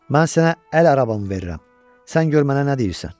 Mən sənə əl arabamı verirəm, sən gör mənə nə deyirsən.